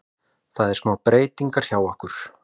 Það er smá breytingar hjá okkur.